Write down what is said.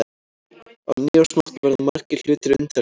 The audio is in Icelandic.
Á nýársnótt verða margir hlutir undarlegir.